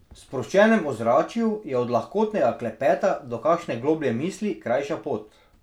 V sproščenem ozračju je od lahkotnega klepeta do kakšne globlje misli krajša pot.